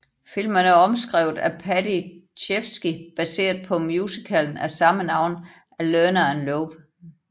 Filmen er omskrevet af Paddy Chayefsky baseret på musicalen af samme navn af Lerner and Loewe